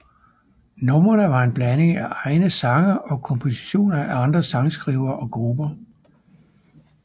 Numrene var en blanding af egne sange og kompositioner af andre sangskrivere og grupper